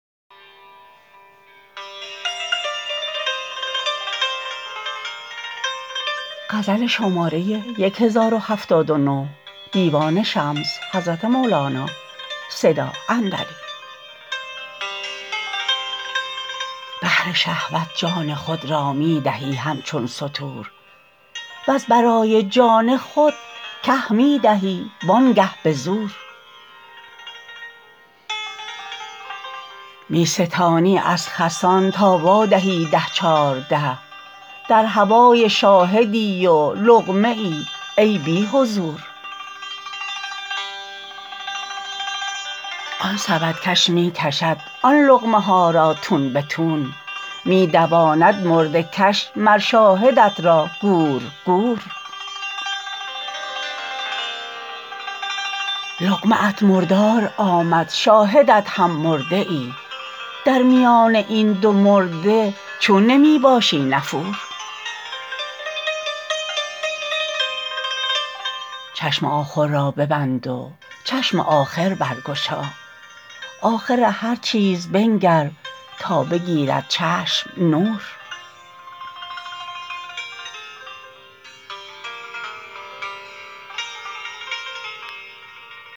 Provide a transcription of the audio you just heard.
بهر شهوت جان خود را می دهی همچون ستور وز برای جان خود که می دهی وانگه به زور می ستانی از خسان تا وادهی ده چارده در هوای شاهدی و لقمه ای ای بی حضور آن سبدکش می کشد آن لقمه ها را تون به تون می دواند مرده کش مر شاهدت را گور گور لقمه ات مردار آمد شاهدت هم مرده ای در میان این دو مرده چون نمی باشی نفور چشم آخر را ببند و چشم آخر برگشا آخر هر چیز بنگر تا بگیرد چشم نور